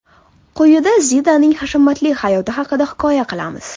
Quyida Zidaning hashamatli hayoti haqida hikoya qilamiz.